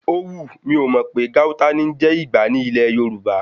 Ówù, mi ò mọ̀ pé Gauta ní ń jẹ́ Ìgbá ní ilẹ̀ Yorùbá.